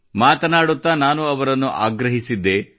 ಮಾತನಾಡುತ್ತಾ ನಾನು ಅವರನ್ನು ಆಗ್ರಹಿಸಿದ್ದೆ